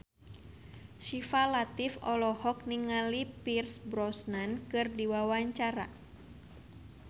Syifa Latief olohok ningali Pierce Brosnan keur diwawancara